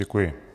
Děkuji.